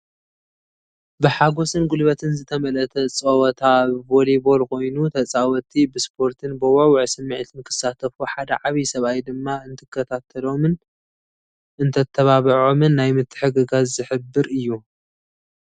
ብሓጎስን ጉልበትን ዝተመልአ ጸወታ ቮሊቦል ኮይኑ፡ ተጻወትቲ ብስፖርትን ብውዕዉዕ ስምዒትን ክሳተፉ ሓደ ዓብይ ሰብኣይ ድማ እንትከታሎምን እንተተባብዖምን ናይ ምትሕግጋዝ ዝሕብር እዩ።